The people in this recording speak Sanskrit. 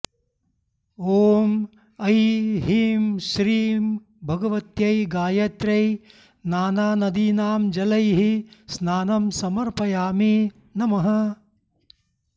ॐ ऐ हीं श्रीं भगवत्यै गायत्र्यै नानानदीनां जलैः स्नानं समर्पयामि नमः